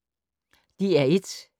DR1